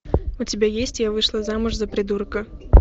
у тебя есть я вышла замуж за придурка